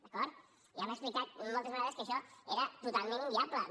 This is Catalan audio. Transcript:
d’acord ja hem explicat moltes vegades que això era totalment inviable no